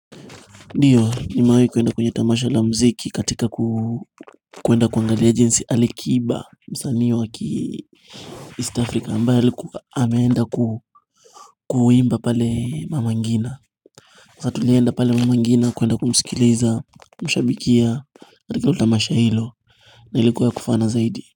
Ndiyo nimewai kuenda kwenye tamasha la mziki katika kuenda kuangalia jinsi alikiba msanii wa ki East Africa ambayo alkuwa ameenda ku kuimba pale mama ngina sa tulienda pale mama ngina kuenda kumsikiliza mshabikia katika utamasha hilo na ilikuwa kufana zaidi.